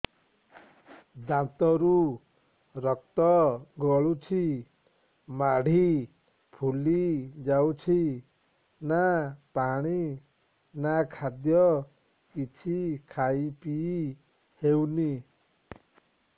ଦାନ୍ତ ରୁ ରକ୍ତ ଗଳୁଛି ମାଢି ଫୁଲି ଯାଉଛି ନା ପାଣି ନା ଖାଦ୍ୟ କିଛି ଖାଇ ପିଇ ହେଉନି